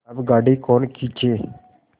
अब गाड़ी कौन खींचे